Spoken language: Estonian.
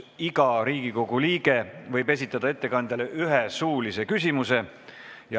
Iga Riigikogu liige võib esitada ettekandjale ühe suulise küsimuse.